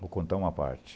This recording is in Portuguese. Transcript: Vou contar uma parte.